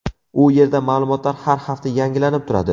U yerda ma’lumotlar har hafta yangilanib turadi.